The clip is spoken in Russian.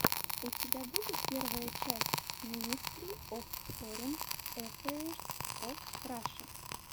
у тебя будет первая часть минестри оф форин аффэйрс оф раша